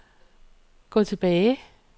gå tilbage